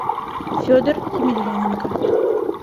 федор емельяненко